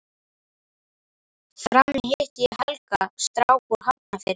Frammi hitti ég Helga, strák úr Hafnarfirði.